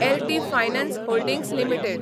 L T finance holdings limited